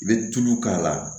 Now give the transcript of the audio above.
I bɛ tulu k'a la